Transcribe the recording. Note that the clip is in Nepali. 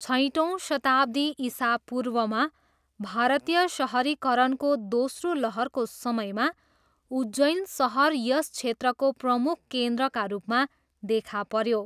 छैटौँ शताब्दी इसापूर्वमा भारतीय सहरीकरणको दोस्रो लहरको समयमा उज्जैन सहर यस क्षेत्रको प्रमुख केन्द्रका रूपमा देखा पऱ्यो।